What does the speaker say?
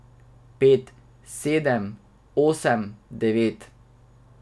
Pet, sedem, osem, devet.